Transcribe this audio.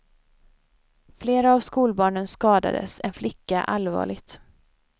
Flera av skolbarnen skadades, en flicka allvarligt.